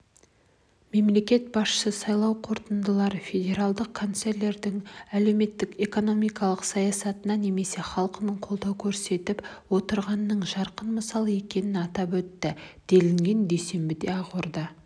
мемлекет басшысы сайлау қорытындылары федералдық канцлердің әлеуметтік-экономикалық саясатына неміс халқының қолдау көрсетіп отырғанының жарқын мысалы екенін атап өтті делінген дүйсенбіде ақорда